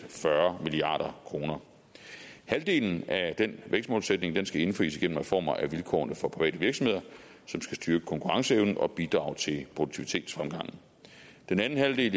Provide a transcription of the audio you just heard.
fyrre milliard kroner halvdelen af den vækstmålsætning skal indfries gennem reformer af vilkårene for private virksomheder som skal styrke konkurrenceevnen og bidrage til produktivitetsfremgang den anden halvdel